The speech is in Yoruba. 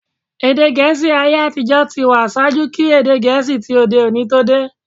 Èdè Gẹ̀ẹ́sì ayé-àtijọ́ ti wà ṣaájú kí èdè Gẹ̀ẹ́sì ti òde-òní tó dé.